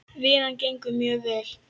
Vinnan gengur mjög vel.